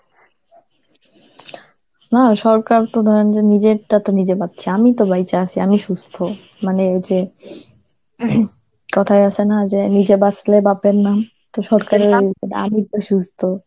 হ্যাঁ সরকার তো ধরেন যে নিজেরটা তো নিজে বাচ্ছি, আমি তো বাইচা আছি, আমি সুস্থ, মানে হইছে কথায় আছে না যে নিজে বাঁচলে বাপের নাম, তো সরকারি আমি তো সুস্থ.